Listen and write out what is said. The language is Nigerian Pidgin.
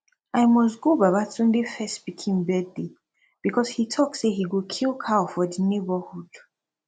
i must go baba tunde first pikin birthday because he talk say he go kill cow for the neighborhood